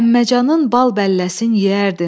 Əmməcanın bal bəlləsin yeyərdim.